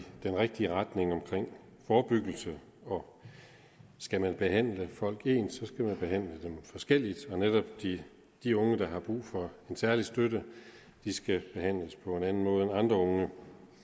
den rigtige retning omkring forebyggelse og skal man behandle folk ens skal man behandle dem forskelligt netop de de unge der har brug for en særlig støtte skal behandles på en anden måde end andre unge